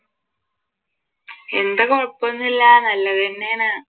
എന്താ കൊഴപ്പം ഒന്നും ഇല്ല നല്ലത് തന്നെയാണ്.